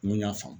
N kun y'a faamu